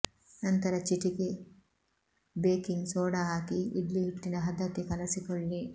ನಂತರ ಚಿಟಿಕೆ baking soda ಹಾಕಿ ಇಡ್ಲಿ ಹಿಟ್ಟಿನ ಹದಕ್ಕೆ ಕಲೆಸಿಕೊಳ್ಳಿ